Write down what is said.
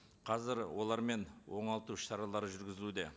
қазір олармен оңалту іс шаралары жүргізілуде